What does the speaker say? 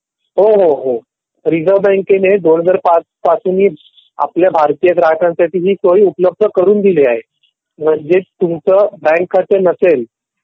हो हो रिझर्व बँकेने दोन हजार पाच पासून आपल्या भारतीय ग्राहकांसाठी ही सोय उपलब्ध करून दिली आहे. म्हणजे तुमचा बँक खाता नसेल